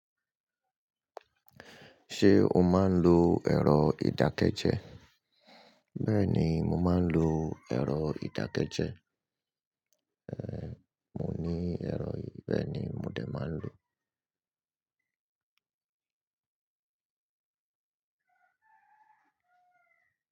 Ṣé o máa ń lo ẹ̀rọ ìdákẹ́jẹ́? Bẹ́ẹ̀ni, mo máa ń lo ẹ̀rọ ìdákẹ́jẹ́. Ehn, mo ní ẹ̀rọ yii, bẹ́ẹ̀ ni mo dè máa ń lò.